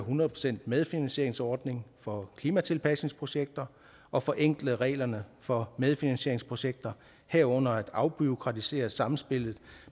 hundrede procent medfinansieringsordning for klimatilpasningsprojekter og forenkle reglerne for medfinansieringsprojekter herunder at afbureaukratisere samspillet